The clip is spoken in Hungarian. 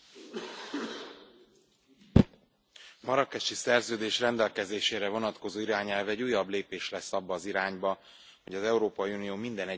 A marrákesi szerződés rendelkezésére vonatkozó irányelv egy újabb lépés lesz abba az irányba, hogy az Európai Unió minden egyes állampolgárának igényére választ adjon.